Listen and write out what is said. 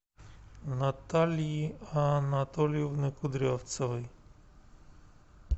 натальи анатольевны кудрявцевой